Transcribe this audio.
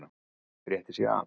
Rétti sig af.